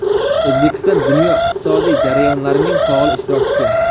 O‘zbekiston dunyo iqtisodiy jarayonlarining faol ishtirokchisi.